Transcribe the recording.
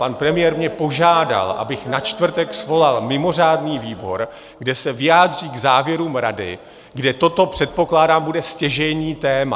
Pan premiér mě požádal, abych na čtvrtek svolal mimořádný výbor, kde se vyjádří k závěrům Rady, kde toto, předpokládám, bude stěžejní téma.